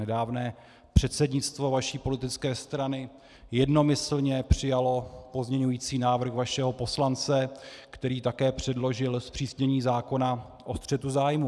Nedávné předsednictvo vaší politické strany jednomyslně přijalo pozměňující návrh vašeho poslance, který také předložil zpřísnění zákona o střetu zájmů.